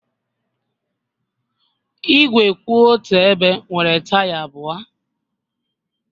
Igwe kwụ otu ebe nwere taya abụọ